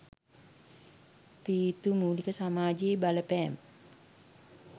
පීතෘමූලික සමාජයේ බලපෑම